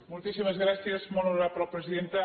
moltíssimes gràcies molt honorable presidenta